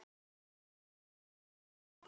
Ekki smuga!